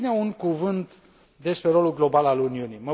În fine, un cuvânt despre rolul global al Uniunii.